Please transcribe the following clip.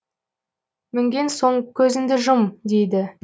мінген соң көзіңді жұм дейді